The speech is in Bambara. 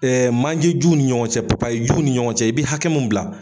manje juw ni ɲɔgɔn cɛ juw ni ɲɔgɔn cɛ, i bɛ hakɛ mun bila